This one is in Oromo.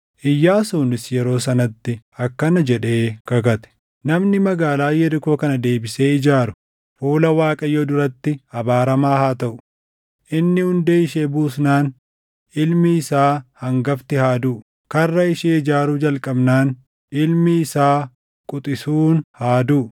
Iyyaasuunis yeroo sanatti akkana jedhee kakate; “Namni magaalaa Yerikoo kana deebisee ijaaru fuula Waaqayyoo duratti abaaramaa haa taʼu: “Inni hundee ishee buusnaan, ilmi isaa hangafti haa duʼu; karra ishee ijaaruu jalqabnaan, ilmi isaa quxisuun haa duʼu.”